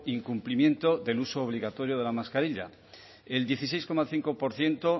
incumplimiento del uso obligatorio de la mascarilla el dieciséis coma cinco por ciento